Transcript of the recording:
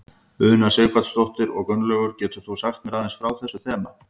Una Sighvatsdóttir: Og Gunnlaugur getur þú sagt mér aðeins frá þessu þema?